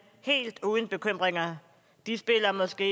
helt uden bekymringer de spiller måske